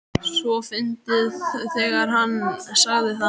. svo fyndið þegar HANN sagði það!